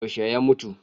Yaushe ya mutu?